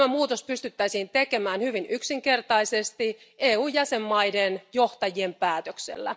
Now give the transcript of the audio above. Tämä muutos pystyttäisiin tekemään hyvin yksinkertaisesti EUn jäsenmaiden johtajien päätöksellä.